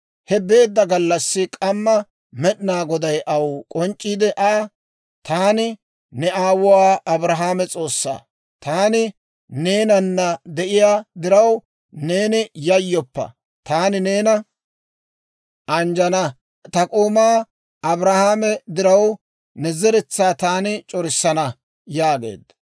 He beedda gallassi k'amma Med'ina Goday Aw k'onc'c'iide Aa, «Taani ne aawuwaa Abrahaame S'oossaa; taani neenana de'iyaa diraw, neeni yayyoppa; taani neena anjjana; ta k'oomaa Abrahaame diraw ne zeretsaa taani c'orissana» yaageedda.